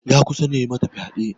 Ya kusan ya yi mata fyade.